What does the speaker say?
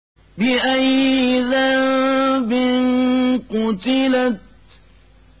بِأَيِّ ذَنبٍ قُتِلَتْ